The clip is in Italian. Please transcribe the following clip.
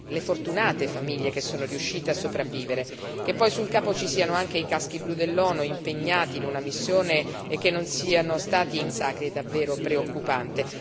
le fortunate famiglie che sono riuscite a sopravvivere. Che poi sul campo ci siano anche i caschi blu dell'ONU, impegnati in una missione, e che non siano stati in grado di fermare i massacri è davvero preoccupante.